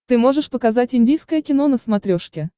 ты можешь показать индийское кино на смотрешке